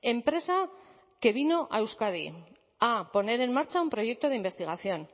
empresa que vino a euskadi a poner en marcha un proyecto de investigación